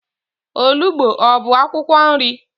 Olugbo ọ bụ akwụkwọ nri?